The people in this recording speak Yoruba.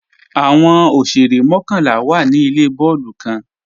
Awọn òṣèrè mọ̀kanlá wá ní ilẹ̀ bọọ̀lù kan.